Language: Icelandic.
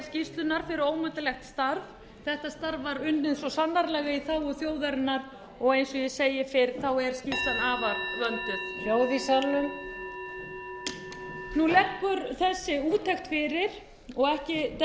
skýrslunnar fyrir ómetanlegt starf þetta starf var unnið svo sannarlega í þágu þjóðarinnar og eins og ég segi fyrr er skýrslan afar vönduð hljóð í salnum nú liggur þessi úttekt fyrir og ekki dettur